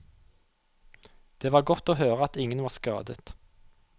Det var godt å høre at ingen var skadet.